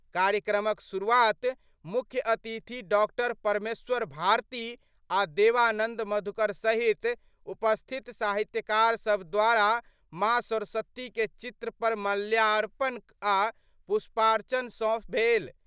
कार्यक्रमक शुरूआत मुख्य अतिथि डॉ परमेश्वर भारती आ' देवानंद मधुकर सहित उपस्थित साहित्यकारसभ द्वारा माँ सरस्वती के चित्र पर माल्यार्पण आ' पुष्पार्चन सं भेल।